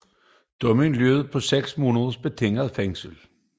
Dommen lød på 6 måneders betinget fængsel